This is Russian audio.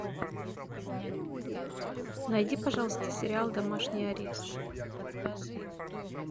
найди пожалуйста сериал домашний арест